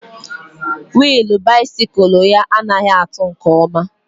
Willu bisikul ya anaghị atụ nke ọma